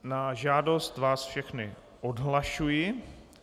Na žádost vás všechny odhlašuji.